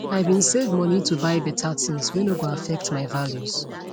i bin save money to buy better things whey no go affect my values